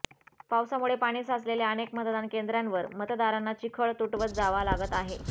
पावसामुळे पाणी साचलेल्या अनेक मतदान केंद्रावर मतदारांना चिखळ तुटवत जावा लागत आहे